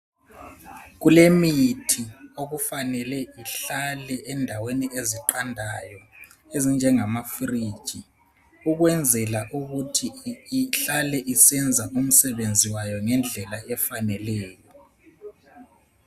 Kulemithi okufanele ihlale endaweni eziqandayo ezinjengamafriji ukwenzela ukuthi ihlale isenza umsebenzi wayo ngendlela efaneleyo.